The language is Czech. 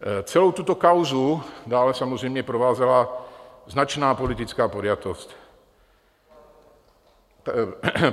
Celou tuto kauzu dále samozřejmě provázela značná politická podjatost.